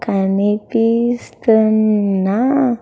కనిపిస్తున్నా--